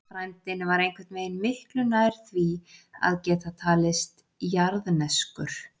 Frændinn var einhvern veginn miklu nær því að geta talist jarðneskur.